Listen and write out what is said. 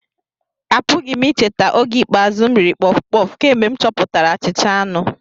Apụghị m icheta oge ikpeazụ m riri puff-puff kemgbe m chọpụtara achicha anu